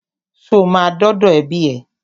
Ṣo ma dọ́dọ̀ ẹbí ẹ?